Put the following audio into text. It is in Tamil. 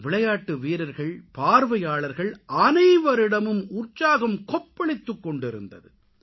விளையாட்டு வீரர்கள் பார்வையாளர்கள் அனைவரிடமும் உற்சாகம் கொப்பளித்துக்கொண்டிருந்தது